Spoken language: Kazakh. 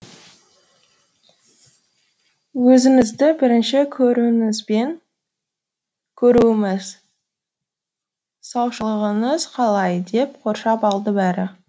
өзіңізді бірінші көруіміз саушылығыңыз қалай деп қоршап алды бәрі